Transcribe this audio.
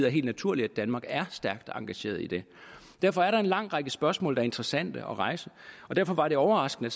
er helt naturligt at danmark er stærkt engageret i det derfor er der en lang række spørgsmål der er interessante at rejse og derfor var det overraskende